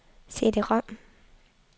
CD-rom